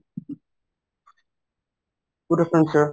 good afternoon sir